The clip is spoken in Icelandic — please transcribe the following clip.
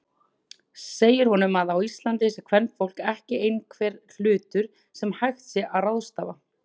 Segir honum að á Íslandi sé kvenfólk ekki einhver hlutur sem hægt sé að ráðstafa.